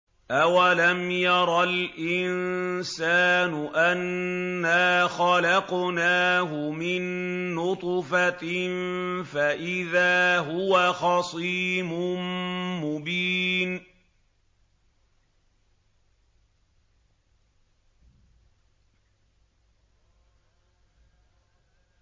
أَوَلَمْ يَرَ الْإِنسَانُ أَنَّا خَلَقْنَاهُ مِن نُّطْفَةٍ فَإِذَا هُوَ خَصِيمٌ مُّبِينٌ